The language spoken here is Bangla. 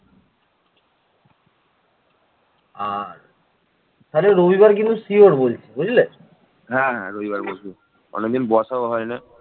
বা সম্ভবত অস্ট্রোএশীয় ভাষায় কথা বলত যেমন সাঁওতাল